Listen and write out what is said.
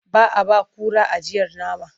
Ba a ba kura ajiyar nama.